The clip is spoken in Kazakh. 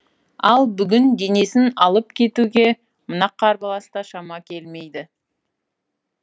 ал бүгін денесін алып кетуге мына қарбаласта шама келмейді